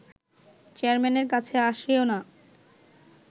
চেয়ারম্যানের কাছে আসেও না